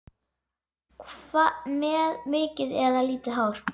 Með mikið eða lítið hár?